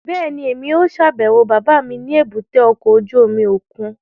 Bẹ́ẹ̀ni, Emi yóò ṣabẹwo baba mi ni èbúté ọkọ ojú omi okun